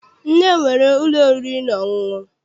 Nne m nwere ụlọ oriri na ọṅụṅụ.